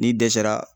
N'i dɛsɛra